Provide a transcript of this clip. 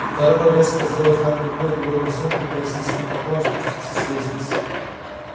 король резко сделал знак рукой и двое послов пятаясь с низкими поклонами спустились с лестницы